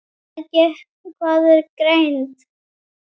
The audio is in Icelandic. og Hvað er greind?